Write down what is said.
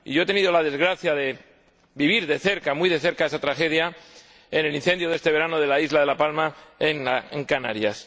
He tenido la desgracia de vivir muy de cerca esta tragedia, en el incendio de este verano de la isla de La Palma, en Canarias.